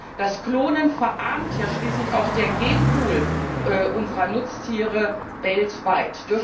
Durch das Klonen verarmt ja schließlich auch der Genpool unserer Nutztiere weltweit.